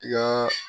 I ka